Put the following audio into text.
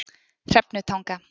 Hrefnutanga